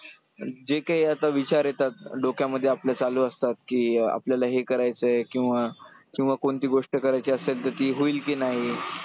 जे काही आता विचार येतात डोक्यामध्ये आपल्या चालू असतात की अं आपल्याला हे करायचंय किंवा किंवा कोणती गोष्ट करायची असेल तर ती होईल की नाही ,